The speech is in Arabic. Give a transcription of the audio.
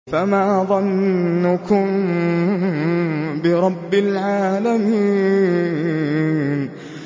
فَمَا ظَنُّكُم بِرَبِّ الْعَالَمِينَ